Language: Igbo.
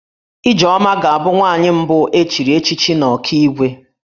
Ijeoma ga-abụ nwaanyị mbụ e chiri echichi n'Ọkigwe